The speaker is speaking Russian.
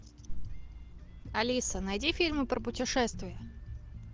алиса найди фильмы про путешествия